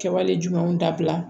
Kɛwale jumɛnw dabila